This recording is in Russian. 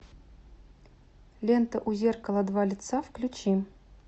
лента у зеркала два лица включи